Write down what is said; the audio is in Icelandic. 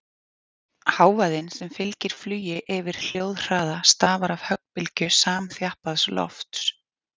Hávaðinn sem fylgir flugi yfir hljóðhraða stafar af höggbylgju samþjappaðs lofts.